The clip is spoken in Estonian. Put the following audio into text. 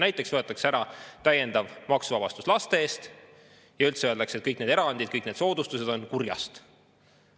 Näiteks võetakse ära täiendav maksuvabastus laste eest ja üldse öeldakse, et kõik need erandid ja soodustused on kurjast.